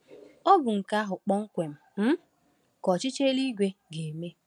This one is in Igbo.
Ọ bụ nke ahụ kpọmkwem um ka ọchịchị eluigwe ga-eme.